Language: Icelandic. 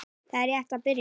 Það er rétt að byrja.